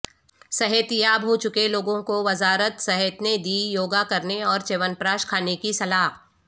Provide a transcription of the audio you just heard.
صحت یاب ہوچکے لوگوں کو وزارت صحت نے دی یوگاکرنے اورچیون پراش کھانے کی صلاح